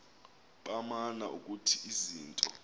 baman ukuthi izinto